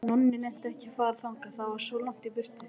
Nonni nennti ekki að fara þangað, það var svo langt í burtu.